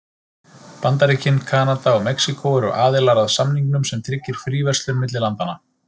Bandaríkin, Kanada og Mexíkó eru aðilar að samningnum sem tryggir fríverslun milli landanna.